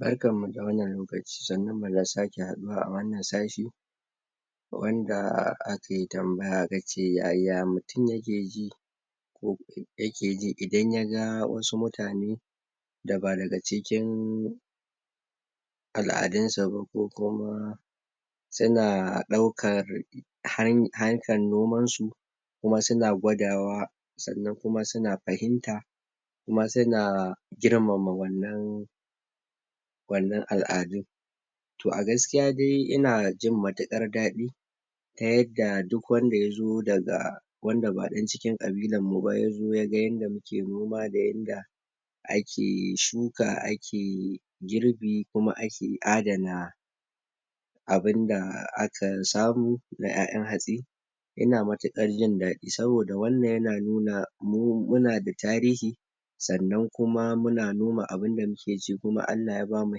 Barkan mu da wannan lokaci, sannun mu da sake haɗuwa a wannan sashi wanda ake tambaya gaje yaya mutum yake ji ko yake ji idan yaga wasu mutane da ba daga cikin al'adun sa ba, ko kuma suna ɗaukar han harkan noman su, kuma suna gwadawa, sannan kuma suna fahimta, kuma suna girmama wannan wannan al'adun. Toh, a gaskiya dai ina jin matuƙar daɗi ta yadda duk wanda yazo daga wanda ba ɗan cikin ƙabilan mu ba, yazo yaga yanda muke noma da yanda ake shuka, ake girbi, kuma ake adana abunda aka samu na ƴaƴan hatsi, ina matukar jin daɗi. Saboda wannan yana nuna mu muna da tarihi, sannan kuma muna noma abunda muke ci, kuma Allah ya bamu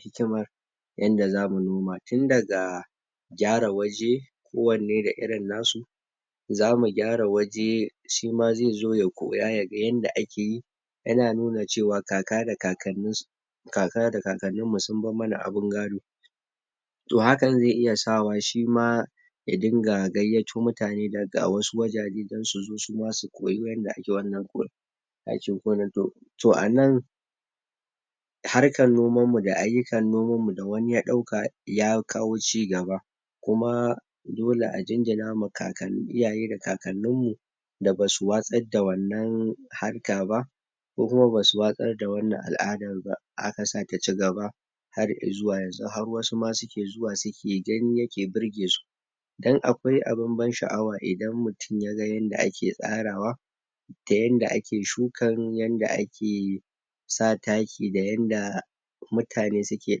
hikimar yanda zamu noma. Tun daga gyara waje ko wanne da irin nasu, zamu gyara waje shima zai zo ya koya, yaga yanda ake yi, yana nuna cewa kaka da kakanni sun kakannin mu sun bar mana abin gado. Toh, hakan zai iya sawa shima ya dinga gayyato mutane daga wasu wajaje dan su zo su ma su koyi yanda ake wannan aikin gonar Toh a nan, harkan nomanmu da ayyukan noman mu da wani ya ɗauka, ya kawo ci gaba kuma dole a jinjina ma kakann iyaye da kakannin mu da basu watsar da wannan harka ba, ko kuma basu watsar da wannan al'adar ba, aka sake ci gaba har i'zuwa yanzu, har wasu ma suke zuwa suka gani yake birge su. Dan akwai abun ban sha'awa idan mutum yaga yanda ake tsarawa, da yanda ake shukan yanda ake sa taki da yanda mutane suke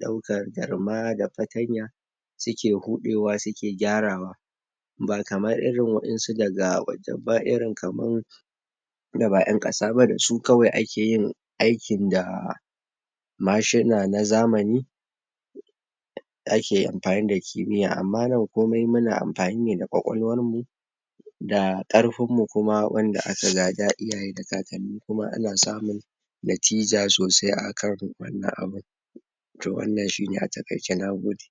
ɗaukar garma da fatanya suke huɗewa suke gyarawa, ba kamar irin wa'insu daga waje ba, irin kaman da ba ƴan ƙasa ba, da su kawai ake yin aikin da mashina na zamani ake amfani da kimiyya. Amma nan komai muna amfani ne da ƙwaƙwalwar mu, da ƙarfun mu kuma wanda aka gada iyaye da kakanni, kuma ana samun natija sosai a kan wannan abun. Toh, wannan shi ne a taƙaice. Nagode.